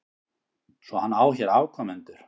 Svo hann á hér afkomendur?